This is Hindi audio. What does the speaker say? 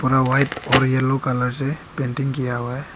व्हाइट और येलो कलर से पेंटिंग किया हुआ है।